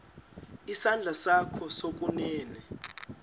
isandla sakho sokunene